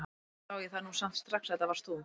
Alveg sá ég það nú samt strax að þetta varst þú!